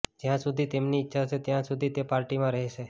જ્યા સુધી તેમની ઈચ્છા હશે ત્યા સુધી તે પાર્ટીમાં રહેશે